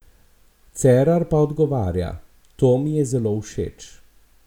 Cerar pa odgovarja: "To mi je zelo všeč.